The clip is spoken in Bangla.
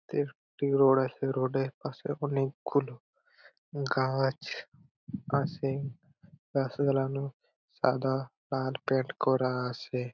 তে একটি রোড আছে রোড -এর পাশে অনকে গুলো গাছ আছে । গাছ গুলানো সাদা আর পেইন্ট করা আছে ।